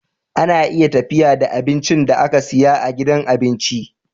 Ana iya tafiya da abincin da aka siya a gidan abinci